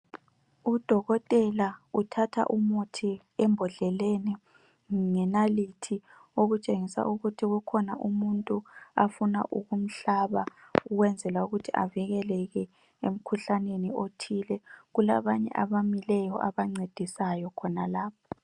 Udokotela uthatha umuthi embodleleni ngenalithi okutshengisa ukuthi kukhona umuntu afuna ukumhlaba ukwenzela ukuthi avikeleke emkhuhlaneni othile. Kulabanye abamileyo abancedisayo khonalapho.